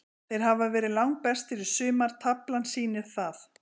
Þeir hafa verið langbestir í sumar, taflan sýnir það.